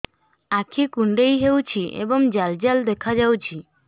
ଆଖି କୁଣ୍ଡେଇ ହେଉଛି ଏବଂ ଜାଲ ଜାଲ ଦେଖାଯାଉଛି